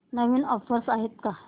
नवीन offers आहेत का